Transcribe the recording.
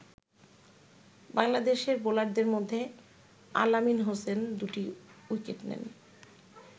বাংলাদেশের বোলারদের মধ্যে আল আমিন হোসেন দুটি উইকেট নেন।